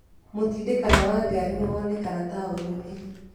Mũtindĩkano wa ngari nĩwoneka taũninĩ.